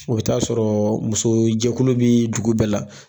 O bE ta'a sɔrɔ muso jɛkulu bi dugu bɛɛ la